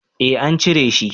Eh an cire shi